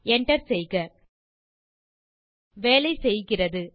enter செய்க வேலை செய்கிறது